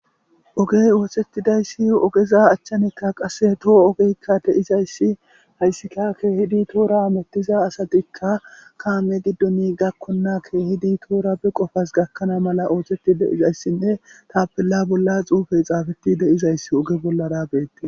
Ogey oosetidayssi ogeza achchanekka qasse toho ogeykka de izayssi hayssikka keehidi toora amettiza asatikka kaame giddoni gakkonna keehidi toora be qofas gakkana mala ooseti de izayssinne tapilla bolla xuufey xaafeti deizayss oge bollarabeetti.